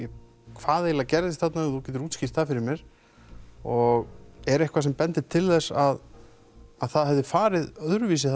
hvað eiginlega gerðist þarna ef þú getur útskýrt það fyrir mér og er eitthvað sem bendir til þess að það hafi farið öðruvísi